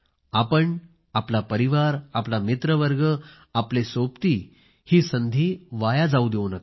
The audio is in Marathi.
आपण आपला परिवार आपला मित्र वर्ग आपले सोबती ही संधी वाया जाऊ देऊ नका